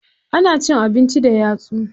Ana cin abinci da yatsu.